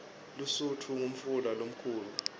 lusutfu ngumfula lomkhulu